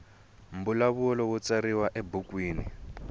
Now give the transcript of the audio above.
mbulavulo wu tsariwa ebukwini